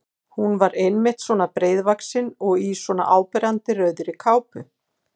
Hún var einmitt svona breiðvaxin og í svona áberandi rauðri kápu!